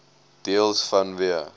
deels vanweë